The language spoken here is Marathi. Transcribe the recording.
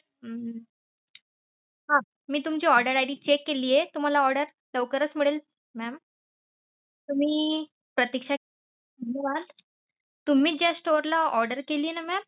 हम्म हा मी तुमची order ID check केलीये तुम्हाला order लवकरच मिळेल mam तुम्ही प्रतीक्षा तुम्ही ज्या store ला order केली ना mam